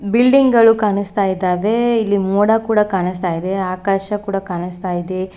Building ಗಳು ಕಾಣಿಸ್ತಾ ಇದ್ದಾವೆ ಇಲ್ಲಿ ಮೋಡ ಕೂಡ ಕಾಣಿಸ್ತಾ ಇದೆ ಆಕಾಶ ಕೂಡ ಕಾಣಿಸ್ತಾ ಇದೆ.